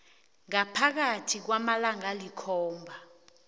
ngaphakathi kwamalanga alikhomba